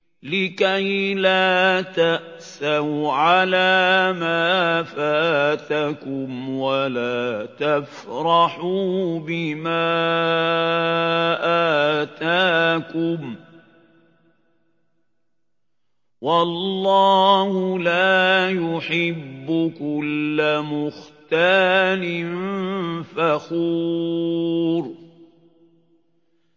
لِّكَيْلَا تَأْسَوْا عَلَىٰ مَا فَاتَكُمْ وَلَا تَفْرَحُوا بِمَا آتَاكُمْ ۗ وَاللَّهُ لَا يُحِبُّ كُلَّ مُخْتَالٍ فَخُورٍ